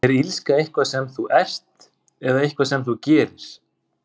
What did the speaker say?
Er illska eitthvað sem þú ert, eða eitthvað sem þú gerir?